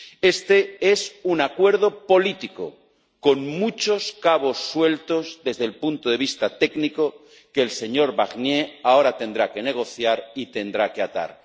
Este es un acuerdo político, con muchos cabos sueltos desde el punto de vista técnico que el señor Barnier ahora tendrá que negociar y tendrá que atar.